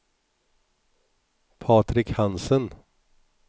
Patrik Hansen